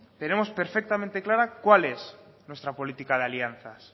tenemos perfectamente clara cuál es nuestra política de alianzas